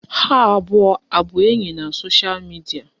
Ha abụọ abụ enyi na sosha midia?